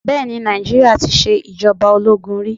Bẹẹni Nàìjíríà tí ṣe ìjọba ológun rí.